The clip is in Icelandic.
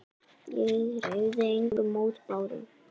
Ég hreyfði engum mótbárum.